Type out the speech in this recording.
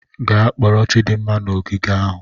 Gaa kporo Chidinma n'ogige ahụ.